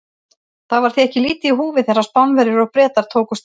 Það var því ekki lítið í húfi þegar Spánverjar og Bretar tókust á.